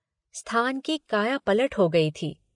स्थान की कायापलट हो गई थी।